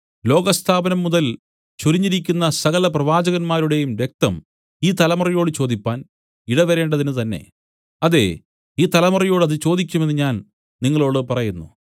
ലോകസ്ഥാപനം മുതൽ ചൊരിഞ്ഞിരിക്കുന്ന സകലപ്രവാചകന്മാരുടെയും രക്തം ഈ തലമുറയോട് ചോദിപ്പാൻ ഇടവരേണ്ടതിനുതന്നെ അതേ ഈ തലമുറയോട് അത് ചോദിക്കും എന്നു ഞാൻ നിങ്ങളോടു പറയുന്നു